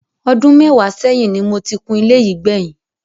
Ọdú mẹ́wàá ṣẹ́yìn ni mo ti kun ilé yìí gbẹ̀yìn.